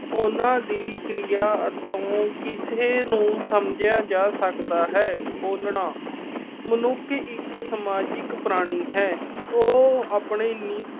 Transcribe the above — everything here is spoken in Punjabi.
ਉਨ੍ਹਾਂ ਦੀ ਕਿਰਿਆ ਕਿਸੇ ਨੂੰ ਸਮਝਿਆ ਜਾ ਸਕਦਾ ਹੈ। ਬੋਲਣਾ। ਮਨੁੱਖ ਇੱਕ ਸਮਾਜਿਕ ਪ੍ਰਾਣੀ ਹੈ। ਉਹ ਆਪਣੇ ਨੀ ਅਹ